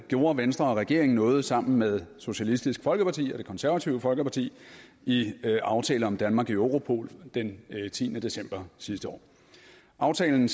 gjorde venstre og regeringen noget sammen med socialistisk folkeparti og det konservative folkeparti i aftale om danmark i europol den tiende december sidste år aftalen